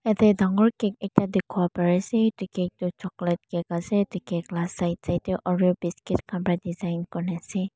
yadae dangor cake ekta dikipo pari asae etu cake toh chocolate cake asae etu cake laa side side dae oreo biscuis khan para design kurikina asae.